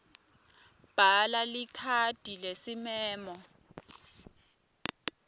bhala likhadi lesimemo